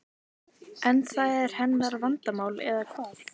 En það er hennar vandamál eða hvað?